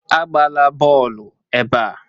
Agbala bọọlụ ebe a!